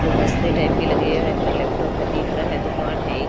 गुलदस्ते टाइप के लगे हुए है इधर लैपटॉप है दिख रहा है दुकान है इ।